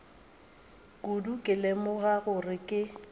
kudu go lemoga gore ke